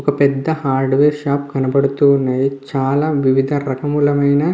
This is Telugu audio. ఒక పెద్ద రకమైన హార్డ్ వేర్ షాప్ కనపడుతూ ఉన్నాయి. చాలా విదరకములమైన--